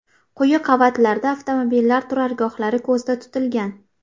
Quyi qavatlarda avtomobillar turargohlari ko‘zda tutilgan.